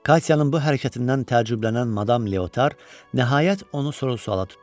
Katyanın bu hərəkətindən təəccüblənən madam Leotar nəhayət onu soru-suala tutdu.